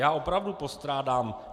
Já opravdu postrádám...